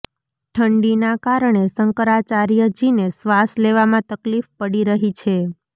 ઠંડીના કારણે શંકરાચાર્યજીને શ્વાસ લેવામાં તકલીફ પડી રહી છે